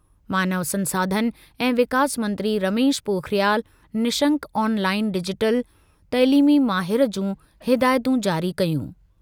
मानव संसाधन ऐं विकास मंत्री रमेश पोखरियाल निशंक ऑनलाइन डिजिटल तइलीमी माहिर जूं हिदायतूं जारी कयूं।